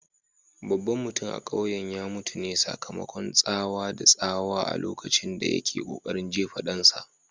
Babban mutum a kauyen ya mutu ne sakamakon tsawa da tsawa a lokacin da yake kokarin jefa dansa.